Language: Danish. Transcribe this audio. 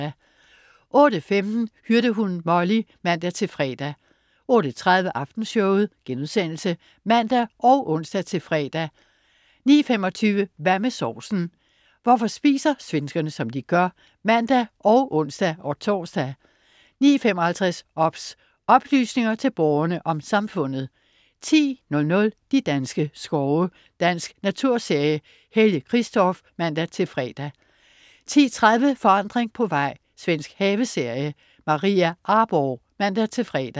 08.15 Hyrdehunden Molly (man-fre) 08.30 Aftenshowet* (man og ons-fre) 09.25 Hvad med sovsen? Hvorfor spiser svenskerne, som de gør? (man og ons-tors) 09.55 OBS. Oplysninger til Borgerne om Samfundet 10.00 De danske skove. Dansk naturserie. Helge Qvistorff (man-fre) 10.30 Forandring på vej. Svensk haveserie. Maria Arborgh (man-fre)